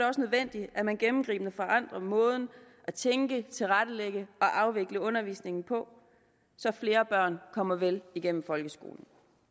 også nødvendigt at man gennemgribende forandrer måden at tænke tilrettelægge og afvikle undervisningen på så flere børn kommer vel igennem folkeskolen